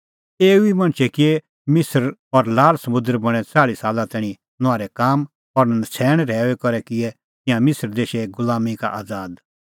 एऊ ई मणछै किऐ मिसर और लाल समुंदर बणैं च़ाल़्ही साला तैणीं नुआहरै काम और नछ़ैण रहैऊई करै किऐ तिंयां मिसर देशे गुलामीं का आज़ाद